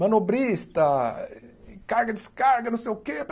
Manobrista, carga-descarga, não sei o que.